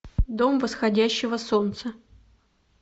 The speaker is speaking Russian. дом восходящего солнца